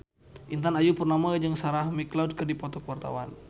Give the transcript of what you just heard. Intan Ayu Purnama jeung Sarah McLeod keur dipoto ku wartawan